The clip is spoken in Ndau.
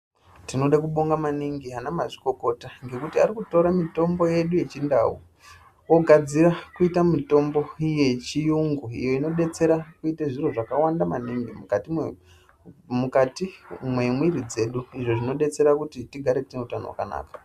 Tinode kubonga maningi ana mazvikokota, ngekuti arikutore mitombo yedu yechindau ogadzira kuita mitombo yechiyungu iyo inodetsera kuite zviro zvakawanda maningi mukati mwemwiri dzedu izvo zvinodetsera kuti tigare tine utano hwakanaka.